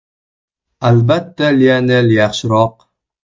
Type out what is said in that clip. Albatta, Lionel yaxshiroq.